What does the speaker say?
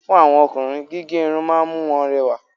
Fún àwọn Ọkùnrin, gígé Irun ma ń mú wọn rẹwà